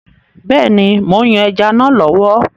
Bẹ́ẹ̀ni, mò ń yan ẹja náà lọ́wọ́.